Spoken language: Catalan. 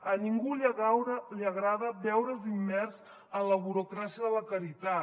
a ningú li agrada veure’s immers en la burocràcia de la caritat